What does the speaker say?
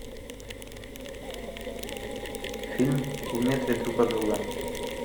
фильм в метре друг от друга